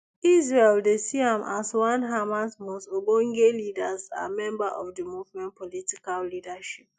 israel dey see am as one hamas most ogbonge leaders and member of di movement political leadership